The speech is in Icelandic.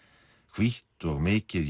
hvítt og mikið